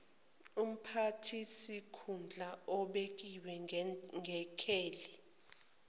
umphathisikhundla obekiwe ngekheli